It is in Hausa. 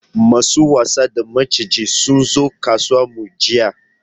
Masu wasa da maciji sunzo kasuwar mu jiya